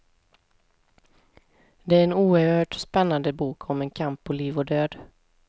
Det är en oerhört spännande bok om en kamp på liv och död.